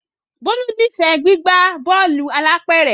Bolu n'ifẹ gbigba Bọ́ọ̀lù alápẹ̀rẹ̀.